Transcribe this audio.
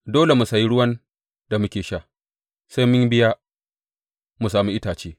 Dole mu sayi ruwan da muke sha; sai mun biya mu sami itace.